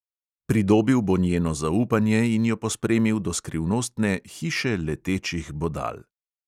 Pridobil bo njeno zaupanje in jo pospremil do skrivnostne hiše letečih bodal.